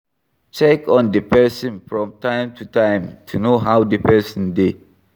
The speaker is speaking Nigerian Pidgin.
Check on di person from time to time to know how di person dey